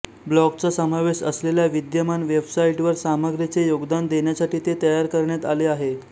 ब्लॉगचा समावेश असलेल्या विद्यमान वेबसाइटवर सामग्रीचे योगदान देण्यासाठी ते तयार करण्यात आले आहे